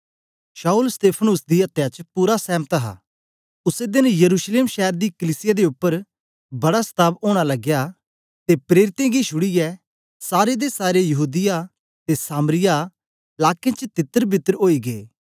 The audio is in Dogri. शाऊल स्तेफानॉस दी अत्या च पूरा सहमत हा उसै देन यरूशलेम शैर दी कलीसिया दे उपर बड़ा सताव ओना लगया ते प्रेरितें गी छुड़ीयै सारे दे सारे यहूदीया ते सामरिया लाकें च तितरबितर ओई गे